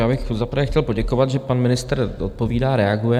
Já bych za prvé chtěl poděkovat, že pan ministr odpovídá, reaguje.